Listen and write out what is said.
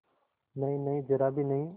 नहींनहीं जरा भी नहीं